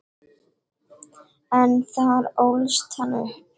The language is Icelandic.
En þar ólst hann upp.